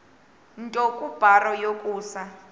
nto kubarrow yokusa